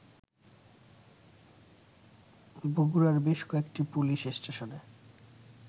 বগুড়ার বেশ কয়েকটি পুলিস স্টেশনে